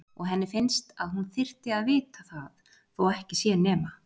Og henni finnst að hún þyrfti að vita það þó ekki sé nema